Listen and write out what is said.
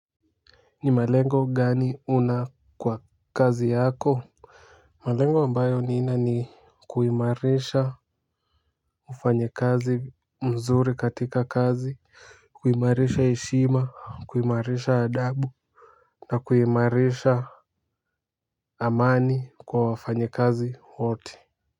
Ni malengo gani una kwa kazi yako? Malengo ambayo nina ni kuimarisha ufanyi kazi mzuri katika kazi kuimarisha heshima kuimarisha adabu na kuimarisha amani kwa wafanyikazi woti.